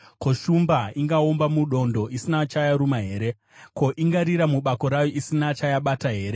Ko, shumba ingaomba mudondo isina chayaruma here? Ko, ingarira mubako rayo isina chayabata here?